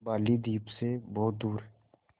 बालीद्वीप सें बहुत दूर